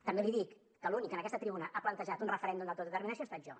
també li dic que l’únic que en aquesta tribuna ha plantejat un referèndum d’autodeterminació he estat jo